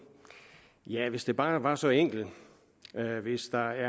ja hvis det bare var så enkelt hvis der